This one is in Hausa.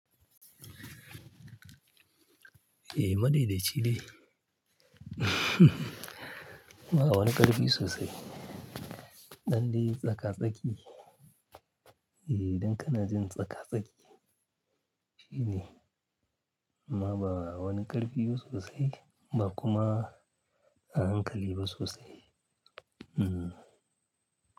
Eh, madaidaici dai. Ba wani ƙarfi sosai. Ɗan dai tsaka-tsaki, eh, idan kanajin tsaka-tsaki shine. Amma ba wani ƙarfi ba sosai ba kuma a hankali ba sosai. Hmm.